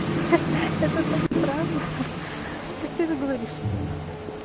это так странно как ты говоришь